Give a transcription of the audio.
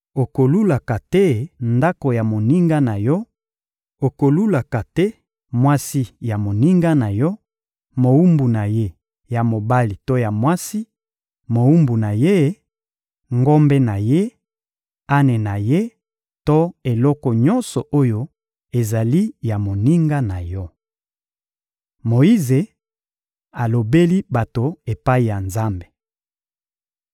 Okolulaka te ndako ya moninga na yo; okolulaka te mwasi ya moninga na yo, mowumbu na ye ya mobali to mwasi mowumbu na ye, ngombe na ye, ane na ye to eloko nyonso oyo ezali ya moninga na yo.» Moyize alobeli bato epai ya Nzambe